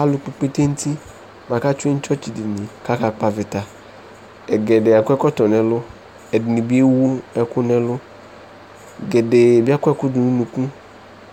Alʋkpɔ ikpete nʋ uti bʋa kʋ atsue nʋ tsɔtsɩdini bʋa kʋ akakpɔ avɩta Ɛgɛdɛɛ akɔ ɛkɔtɔ nʋ ɛlʋ Ɛdɩnɩ bɩ ewu ɛkʋ nʋ ɛlʋ Gɛdɛɛ bɩ akɔ ɛkʋ dʋ nʋ unuku